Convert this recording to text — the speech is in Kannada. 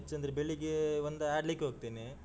ಹೆಚ್ಚೆಂದ್ರೆ ಬೆಳಿಗ್ಗೆ ಒಂದಾ ಆಡ್ಲಿಕ್ಕೆ ಹೋಗ್ತೇನೆ.